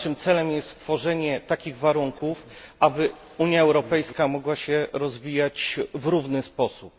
Naszym celem jest stworzenie takich warunków, aby Unia Europejska mogła się rozwijać w równy sposób.